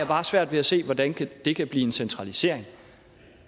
bare svært ved at se hvordan det kan blive en centralisering